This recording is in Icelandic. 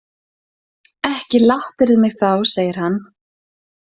Ekki lattirðu mig þá, segir hann.